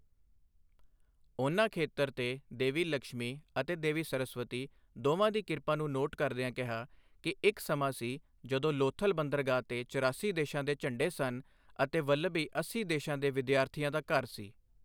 ਉਨ੍ਹਾਂ ਖੇਤਰ ਤੇ ਦੇਵੀ ਲਕਸ਼ਮੀ ਅਤੇ ਦੇਵੀ ਸਰਸਵਤੀ ਦੋਵਾਂ ਦੀ ਕਿਰਪਾ ਨੂੰ ਨੋਟ ਕਰਦਿਆਂ ਕਿਹਾ ਕਿ ਇੱਕ ਸਮਾਂ ਸੀ ਜਦੋਂ ਲੋਥਲ ਬੰਦਰਗਾਹ ਤੇ ਚਰਾਸੀ ਦੇਸ਼ਾਂ ਦੇ ਝੰਡੇ ਸਨ ਅਤੇ ਵਲਭੀ ਅੱਸੀ ਦੇਸ਼ਾਂ ਦੇ ਵਿਦਿਆਰਥੀਆਂ ਦਾ ਘਰ ਸੀ।